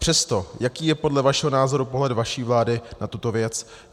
Přesto, jaký je podle vašeho názoru pohled vaší vlády na tuto věc?